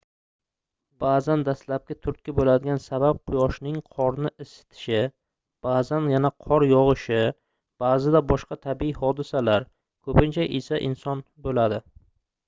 baʼzan dastlabki turtki boʻladigan sabab quyoshning qorni isitishi baʼzan yana qor yogʻishi baʼzida boshqa tabiiy hodisalar koʻpincha esa inson boʻladi